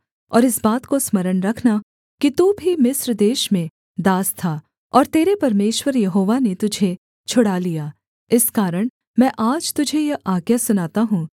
और इस बात को स्मरण रखना कि तू भी मिस्र देश में दास था और तेरे परमेश्वर यहोवा ने तुझे छुड़ा लिया इस कारण मैं आज तुझे यह आज्ञा सुनाता हूँ